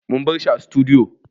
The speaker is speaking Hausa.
Mun bar shi a sutudiyo